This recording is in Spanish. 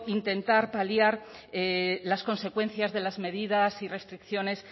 intentar paliar las consecuencias de las medidas y restricciones